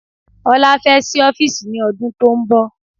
Ọlá fẹ́ sí ọ́fìsì ní ọdún tónbọ̀.